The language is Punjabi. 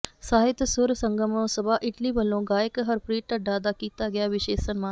ਸਾਹਿਤ ਸੁਰ ਸੰਗਮ ਸਭਾ ਇਟਲੀ ਵੱਲੋਂ ਗਾਇਕ ਹਰਪ੍ਰੀਤ ਢੱਡਾ ਦਾ ਕੀਤਾ ਗਿਆ ਵਿਸ਼ੇਸ਼ ਸਨਮਾਨ